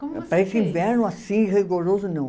Para esse inverno assim, rigoroso, não.